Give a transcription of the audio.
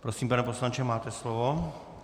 Prosím, pane poslanče, máte slovo.